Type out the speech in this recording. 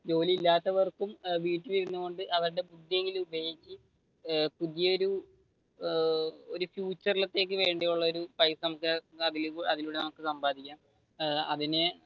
ജോലിയില്ലാത്തവർക്കും വീട്ടിൽ ഇരുന്നു കൊണ്ട് അവരുടെ പുതിയായൊരു ഒരു ഫ്യൂച്ചർ ലത്തേക്ക് വേണ്ടിയുളള ഒരു പൈസ അതിലൂടെ നമ്മക്ക് സമ്പാദിക്കാം ഏർ അതിനു